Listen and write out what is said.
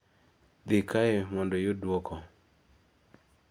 di kae mondo iyud duoko